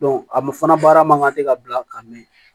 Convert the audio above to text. a ma fana baara man kan tɛ ka bila ka mɛn